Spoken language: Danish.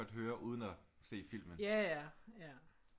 Høre uden at se filmen